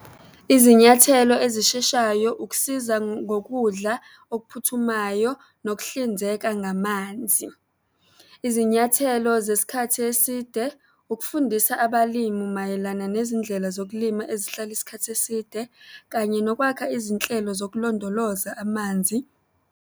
Izinyathelo ezisheshayo, ukusiza ngokudla okuphuthumayo, nokuhlinzeka ngamanzi. Izinyathelo zesikhathi eside, ukufundisa abalimi mayelana nezindlela zokulima ezihlala isikhathi eside, kanye nokwakha izinhlelo zokulondoloza amanzi.